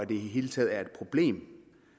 det hele taget er et problem